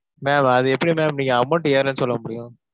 ma'am அது எப்படி ma'am நீங்க amount ஏறலைனு சொல்ல முடியும்.